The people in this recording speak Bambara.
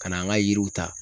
Ka n'an ka yiriw ta